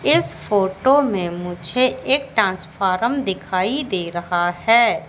इस फोटो में मुझे एक ट्रांसफॉरम दिखाई दे रहा हैं।